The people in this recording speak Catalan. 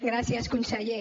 gràcies conseller